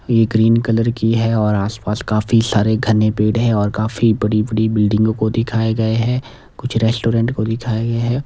ए green colour की है और आस पास काफी सारे घने पेड़ है और काफी बड़ी बड़ी बिल्डिंग को दिखाए गए है कुछ रेस्टोरेंट को दिखाया गया है।